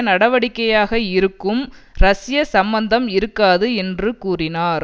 நடவடிக்கையாக இருக்கும் ரஷ்ய சம்பந்தம் இருக்காது என்று கூறினார்